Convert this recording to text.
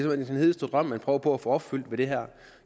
den hedeste drøm man prøver på at få opfyldt ved det her